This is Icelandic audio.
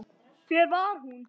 Hver var hún?